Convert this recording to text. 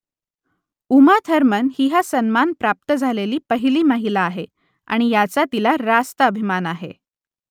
Uma Thurman ही हा सन्मान प्राप्त झालेली पहिली महिला आहे आणि याचा तिला रास्त अभिमान आहे